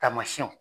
Taamasiyɛnw